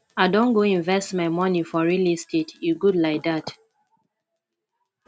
i don go invest my moni for real estate e good lai dat